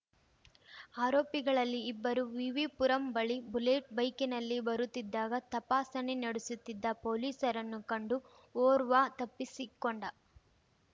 ಆರೋಪಿಗಳಲ್ಲಿ ಇಬ್ಬರು ವಿವಿಪುರಂ ಬಳಿ ಬುಲೆಟ್ ಬೈಕಿನಲ್ಲಿ ಬರುತ್ತಿದ್ದಾಗ ತಪಾಸಣೆ ನಡೆಸುತ್ತಿದ್ದ ಪೊಲೀಸರನ್ನು ಕಂಡು ಓರ್ವ ತಪ್ಪಿಸಿಕೊಂಡ